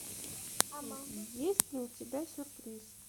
есть ли у тебя сюрприз